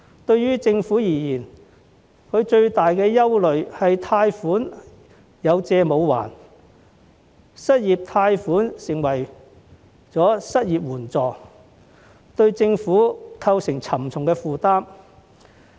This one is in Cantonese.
對政府而言，最大的憂慮是貸款"有借無還"，失業貸款成為失業援助，對政府構成沉重負擔。